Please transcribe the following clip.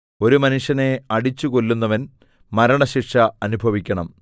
ഒരു മനുഷ്യനെ അടിച്ചുകൊല്ലുന്നവൻ മരണശിക്ഷ അനുഭവിക്കണം